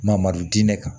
Mamadu diinɛ kan